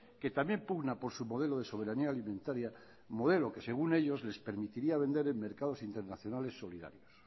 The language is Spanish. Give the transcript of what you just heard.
que también pugna por su modelo de soberanía alimentaria modelo que según ellos les permitiría vender en mercados internacionales solidarios